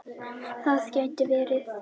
Það gæti verið verra.